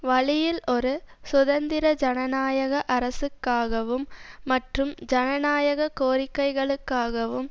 வழியில் ஒரு சுதந்திர ஜனநாயக அரசுக்காகவும் மற்றும் ஜனநாயக கோரிக்கைகளுக்காகவும்